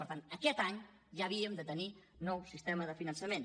per tant aquest any ja havíem de tenir nou sistema de finançament